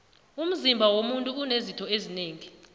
umzima womuntu unezitho zinengi